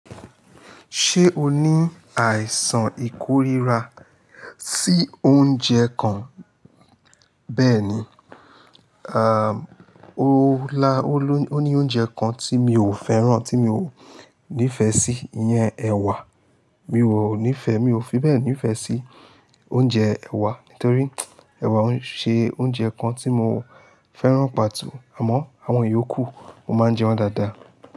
Ṣé o ní àìsàn ìkórira sí oúnjẹ kan? Bẹ́ẹ̀ni, à, o lá, ó ní oúnjẹ kan tí mi ò fẹ́ràn, tí mi ò nífẹ̀ẹ́ sí, ìyẹn ẹ̀wà. Mi ò nífẹ̀ẹ́, mi ò fi bẹ́ẹ̀ nífẹ̀ẹ́ sí oúnjẹ ẹ̀wà nítorí ẹ̀wà ń ṣe oúnjẹ kan tí mo fẹ́ràn pàto. Àmọ́ àwọn ìyókù mo máa ń jẹ wọ́n dáadáa.